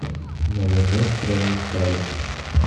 майонез провансаль